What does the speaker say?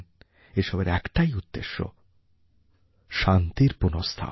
এসবের একটাই উদ্দেশ্য ছিল শান্তির পুনঃস্থাপন